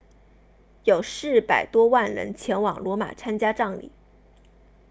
有400多万人前往罗马参加葬礼